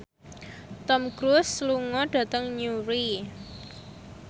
Tom Cruise lunga dhateng Newry